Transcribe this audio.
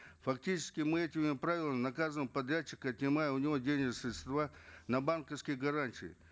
фактически мы этими правилами наказываем подрядчика отнимая у него денежные средства на банковские гарантии